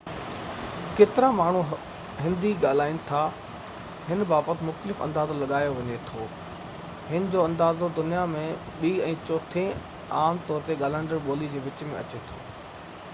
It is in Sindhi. ڪيترا ماڻهو هندي ڳالهائين ٿا هن بابت مختلف اندازو لڳائي لڳايو وڃي ٿو هن جي اندازو دنيا ۾ ٻي ۽ چوٿين عام طور تي ڳالهائيندڙ ٻولي جي وچ ۾ اچي ٿو